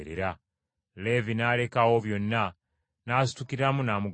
Leevi n’aleka awo byonna, n’asitukiramu n’amugoberera.